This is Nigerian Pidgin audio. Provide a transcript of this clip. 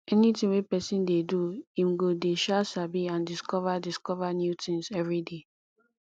anything wey persin de do im go de um sabi and discover discover new things everyday